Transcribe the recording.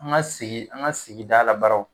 An ga sigi an ga sigida la baraw